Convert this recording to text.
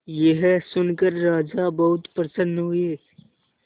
यह सुनकर राजा बहुत प्रसन्न हुए